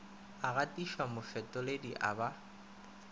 a gatišwa mofetoledi o ba